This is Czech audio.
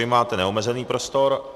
Vy máte neomezený prostor.